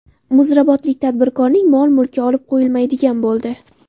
Muzrabotlik tadbirkorning mol-mulki olib qo‘yilmaydigan bo‘ldi.